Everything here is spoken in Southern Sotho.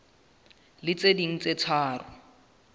le tse ding tse tharo